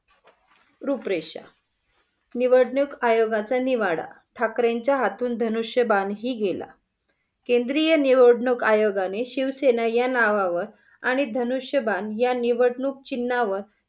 रूपरेषा. निवडणुक आयोगाचा निवाडा. ठाकरेंच्या हातून धनुष्य बाण ही गेला. केंद्रीय निवडणूक आयोगाने शिवसेना या नावावर आणि धनुष्य बाण या निवडणूक चिन्हां वर